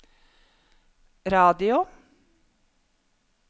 radio